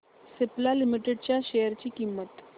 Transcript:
Cipla limited च्या share ची किंमत